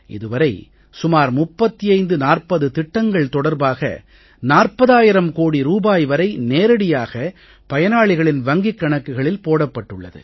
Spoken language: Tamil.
இது வரை சுமார் 35 40 திட்டங்கள் தொடர்பாக 40000 கோடி ரூபாய் வரை நேரடியாக பயனாளிகளின் வங்கிக் கணக்குகளில் போடப்பட்டுள்ளது